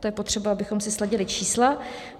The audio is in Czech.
To je potřeba, abychom si sladily čísla.